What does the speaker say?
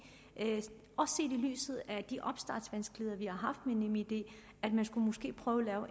lyset af de opstartsvanskeligheder vi har haft med nemid at prøve at lave